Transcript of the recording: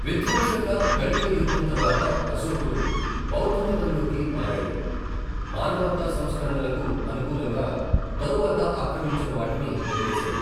విధ్వంసక కళింగ యుద్ధం తరువాత అశోకుడు బౌద్ధమతంలోకి మారాడు, మానవతా సంస్కరణలకు అనుకూలంగా తరువాత ఆక్రమించిన వాటిని వదిలేశాడు.